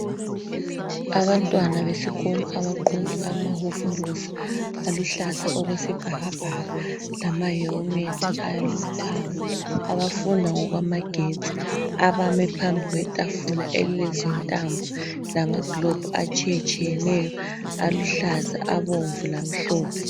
Abantwana besikolo abagqoke amahovorosi aluhlaza okwesibhakabhaka lamahelimethi alithanga abafunda ngokwamagetsi abamileyo phambi kwetafula elilezintambo lamagilobhu atshiyatshiyeneyo aluhlaza, abomvu lamhlophe.